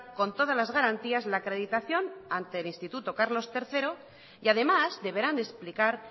con todas las garantías la acreditación ante el instituto carlos tercero y además deberán explicar